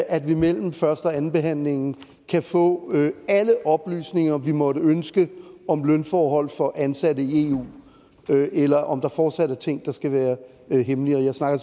at vi mellem første og andenbehandlingen kan få alle oplysninger vi måtte ønske om lønforhold for ansatte i eu eller om der fortsat er ting der skal være hemmelige jeg snakker